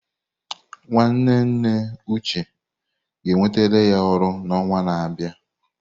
Nwanne nne Uche ga-enwetara ya ọrụ n'ọnwa na-abịa.